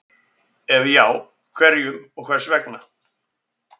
Ef já, hverjum og hvers vegna?